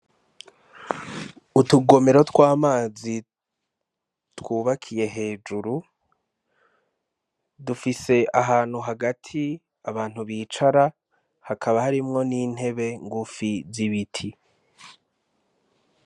Utugomero tw'amazi twubakiye hejuru dufise ahantu hagati abantu bicara hakaba harimwo n'intebe ngufi z'ibiti.